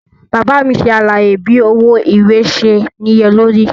Baba mi ṣe alaye bi owo iwe ṣe niyelori.